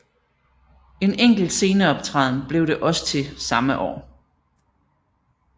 En enkelt sceneoptræden blev det også til samme år